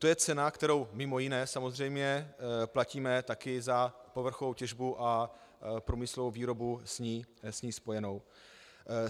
To je cena, kterou, mimo jiné samozřejmě, platíme taky za povrchovou těžbu a průmyslovou výrobu s ní spojenou